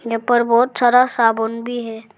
यहां पर बहुत सारा साबुन भी है।